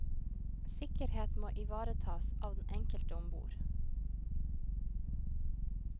Sikkerhet må ivaretas av den enkelte ombord.